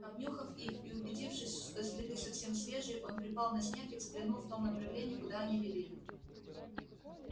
обнюхав их и убедившись что следы совсем свежие он припал на снег и взглянул в том направлении куда они вели